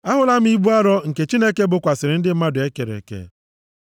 Ahụla m ibu arọ nke Chineke bokwasịrị ndị mmadụ e kere eke.